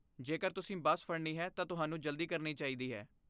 ਜੇਕਰ ਤੁਸੀਂ ਬੱਸ ਫੜਨੀ ਹੈ ਤਾਂ ਤੁਹਾਨੂੰ ਜਲਦੀ ਕਰਨੀ ਚਾਹੀਦੀ ਹੈ।